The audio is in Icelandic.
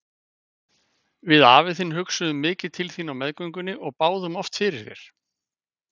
Við afi þinn hugsuðum mikið til þín á meðgöngunni og báðum oft fyrir þér.